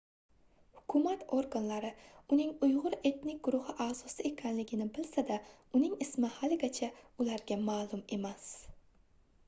hukumat organlari uning uygʻur etnik guruhi aʼzosi ekanini bilsa-da uning ismi haligacha ularga maʼlum emas